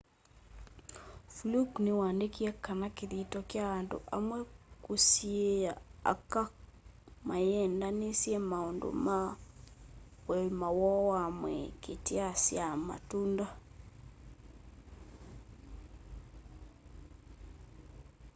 fluke ni waandikie kana kithito kya andu amwe kusiiia aka maikaneenanisye maundu ma uima woo wa mwii kityaa syaa matunda